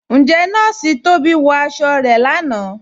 Ǹjẹ̀ Nọọ̀ṣì Tóbi wọ aṣọ̀ rẹ̀ láńà?